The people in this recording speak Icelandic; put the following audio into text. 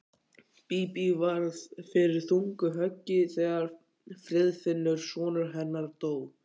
Bíbí varð fyrir þungu höggi þegar Friðfinnur sonur hennar dó.